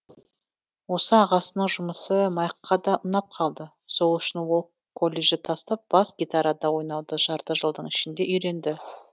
осы ағасының жұмысы майкқа да ұнап қалды сол үшін ол колледжті тастап бас гитарада ойнауды жарты жылдың ішінде үйренді